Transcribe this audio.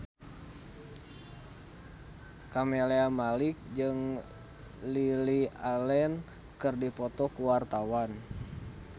Camelia Malik jeung Lily Allen keur dipoto ku wartawan